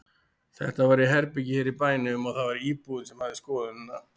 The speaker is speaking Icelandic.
Þetta var í herbergi hér í bænum og það var íbúinn sem hafði skoðunina.